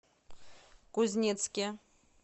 кузнецке